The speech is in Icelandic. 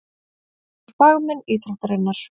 Þeir eru fagmenn íþróttarinnar.